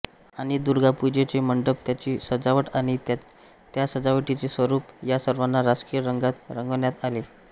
आणि दुर्गापूजेचा मंडप त्याची सजावट आणि त्या सजावटीचे स्वरूप या सर्वांना राजकीय रंगात रंगवण्यात आले